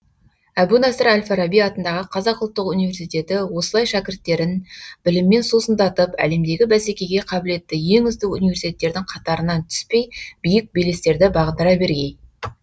әбу насыр әл фараби атындағы қазақ ұлттық университеті осылай шәкірттерін біліммен сусындатып әлемдегі бәсекеге қабілетті ең үздік университеттердің қатарынан түспей биік белестерді бағындыра бергей